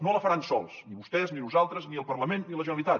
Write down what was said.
no la faran sols ni vostès ni nosaltres ni el parlament ni la generalitat